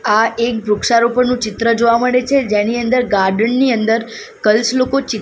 આ એક વૃક્ષારોપણનુ ચિત્ર જોવા મડે છે જેની અંદર ગાર્ડન ની અંદર ગર્લ્સ લોકો ચી --